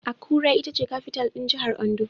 Akure ita ce kafital (capital) ɗin Jahar Ondo